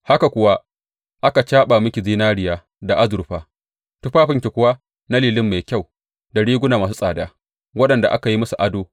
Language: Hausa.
Haka kuwa aka caɓa miki zinariya da azurfa; tufafinki kuwa na lilin mai kyau da riguna masu tsada waɗanda aka yi musu ado.